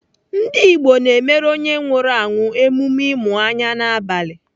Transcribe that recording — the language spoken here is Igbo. Ndigbo na-emere onye nwụrụ anwụ emume ịmụ anya n'abalị.